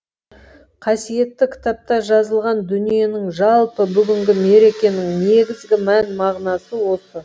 қасиетті кітапта жазылған дүниенің жалпы бүгінгі мерекенің негізгі мән мағынасы осы